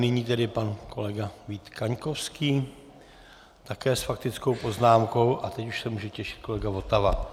Nyní tedy pan kolega Vít Kaňkovský také s faktickou poznámkou a teď už se může těšit kolega Votava.